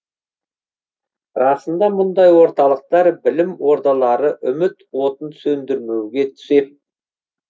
расында мұндай орталықтар білім ордалары үміт отын сөндірмеуге сеп